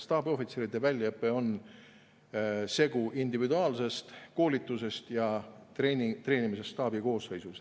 Staabiohvitseride väljaõpe on segu individuaalsest koolitusest ja treenimisest staabi koosseisus.